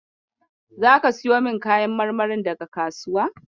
Zaka siyo min kayan marmarin daga kasuwa?